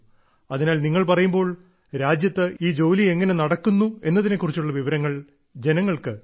അതിനാൽ നിങ്ങൾ പറയുമ്പോൾ രാജ്യത്ത് ഈ ജോലി എങ്ങനെ നടക്കുന്നു എന്നതിനെക്കുറിച്ചുള്ള വിവരങ്ങൾ ജനങ്ങൾക്ക് ലഭിക്കും